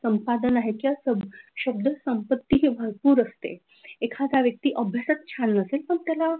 संपादन आहे किंवा शब्द संपत्ती भरपूर असते एखाद्या व्यक्ती अभ्यासच छान नसेल पण त्याला,